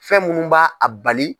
Fɛn minnu b'a a bali.